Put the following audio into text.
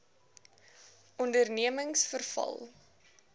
ondernemingsveral